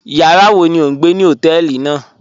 Yàrá wọ̀ ní ọ̀ n gbẹ̀ ní hotẹ̀ẹlí náà?